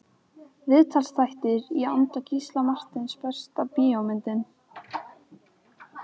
Viðtalsþættir í anda Gísla Marteins Besta bíómyndin?